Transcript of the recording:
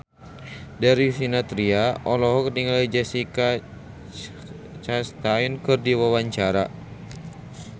Darius Sinathrya olohok ningali Jessica Chastain keur diwawancara